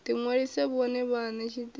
ḓi ṅwalise vhone vhaṋe tshiṱitshini